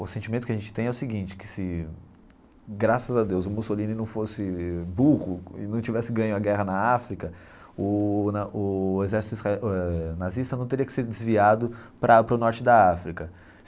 O sentimento que a gente tem é o seguinte, que se, graças a Deus, o Mussolini não fosse burro e não tivesse ganho a guerra na África, o na exército nazista não teria que ser desviado para o norte da África.